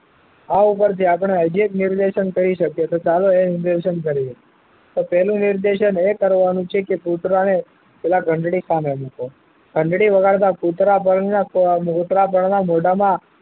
આ ઉપર થી આપડે અનેક નિર્દેશન કરી શકીએ તો ચાલો એ નિર્દેશન કરીએ તો પહેલું નિર્દેશન એ કરવા નું છે કે કુતરા ને પેલા ઘંટડી સાને અડી છે ઘંટડી વગાડતા કુતરા બળ ના કુતરા બળ ના મોઢા માં